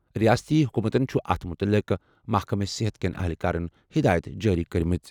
رِیٲستی حکوٗمتَن چھِ اَتھ مُتعلِق محکمہٕ صحت کٮ۪ن اہلکارَن ہِدایَت جٲری کٔرمٕژ۔